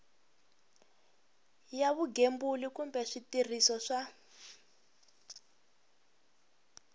ya vugembuli kumbe switirhiso swa